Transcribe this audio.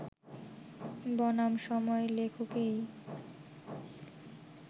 বনাম সময় লেখকেই